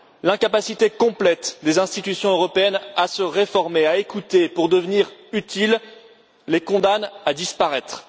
L'incapacité complète des institutions européennes à se réformer et à écouter pour devenir utiles les condamne à disparaître.